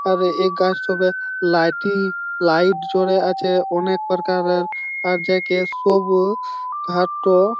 আর এই গাছ তো তে লাইটিং লাইট জোরে আছে | অনেক প্রকারের আর যে সবুজ ঘাসটো--